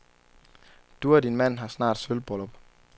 Du og din mand har snart sølvbryllup.